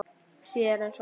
Síður en svo.